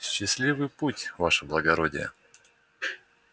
счастливый путь ваше благородие